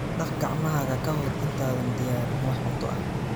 Dhaq gacmahaaga ka hor intaadan diyaarin wax cunto ah.